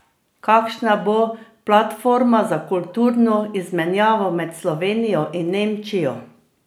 Kakšna bo platforma za kulturno izmenjavo med Slovenijo in Nemčijo?